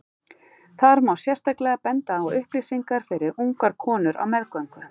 Þar má sérstaklega benda á upplýsingar fyrir ungar konur á meðgöngu.